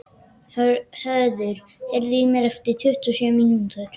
Höður, heyrðu í mér eftir tuttugu og sjö mínútur.